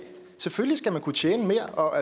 selvfølgelig skal man kunne tjene mere og